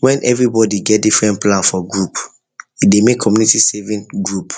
when everybody get different plan for group e dey make community saving group